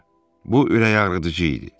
Bu ürəkağrıdıcı idi.